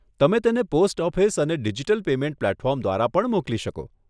તમે તેણે post office અને ડીજીટલ પેમેંટ પ્લેટફોર્મ દ્વારા પણ મોકલી શકો.